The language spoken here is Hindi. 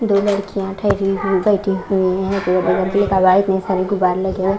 दो लड़कियांठहरी हुईबैठी हुई हैं दो लड़के क़वाए में सभी गुब्बारे लगे है ।